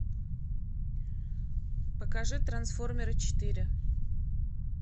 покажи трансформеры четыре